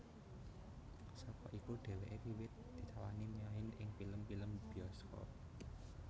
Saka iku dheweke wiwit ditawani main ing pilem pilem biyoskop